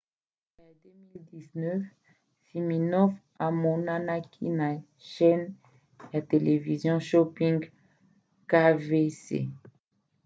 na suka ya 2017 siminoff amonanaki na chaîne ya televizio shopping qvc